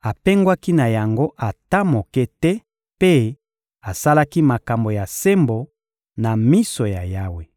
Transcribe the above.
apengwaki na yango ata moke te mpe asalaki makambo ya sembo na miso ya Yawe.